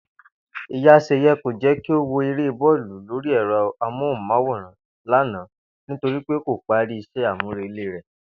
Ìyá S̩è̩ye̩ kò jé̩ kí ó wo eré bó̩ò̩lù lórí è̩ro̩ amóhùn-máwòràn lánàá torí pé kò parí is̩é̩ àmúrelé rè̩